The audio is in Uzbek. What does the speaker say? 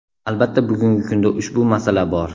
Albatta bugungi kunda ushbu masala bor.